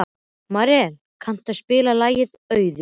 Marel, kanntu að spila lagið „Auður“?